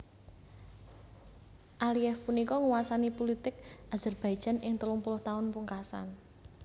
Aliyev punika nguwasani pulitik Azerbaijan ing telung puluh taun pungkasan